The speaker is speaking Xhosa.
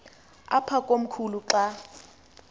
apha komkhulu xa